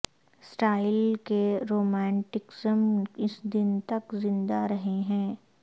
style کے romanticism اس دن تک زندہ رہے ہیں